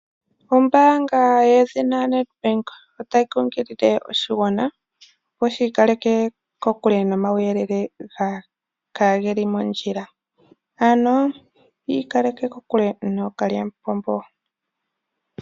Ombaanga yedhina NEDBANK otayi nkunkilile oshigwana opo shi ikaleke kokule nomauyelele kaage li mondjila ano yi ikaleke kokule nookalyamupombo.